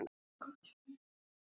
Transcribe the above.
Bíllinn tókst á loft